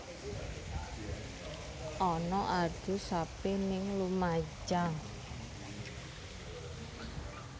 Ana adu sapi ning Lumajang